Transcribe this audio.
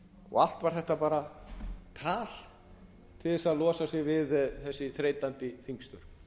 og allt var þetta bara tal til að losa sig við þessi þreytandi þingstörf